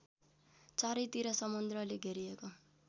चारैतिर समुद्रले घेरिएको